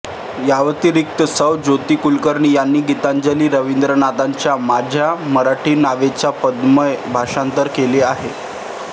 याव्यतिरिक्त सौ ज्योती कुलकर्णी यांनी गीतांजली रविंद्रनाथांच्या माझ्या मराठीत नावाचे पद्यमय भाषांतर केले आहे